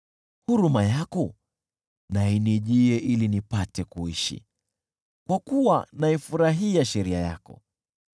Huruma yako na inijie ili nipate kuishi, kwa kuwa naifurahia sheria yako.